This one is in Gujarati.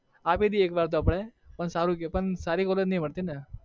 આપી દઈએ એકવાર તો આપણે પણ સારું કે પણ સારી college નહિ મળતી ને